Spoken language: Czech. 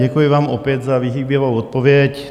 Děkuji vám opět za vyhýbavou odpověď.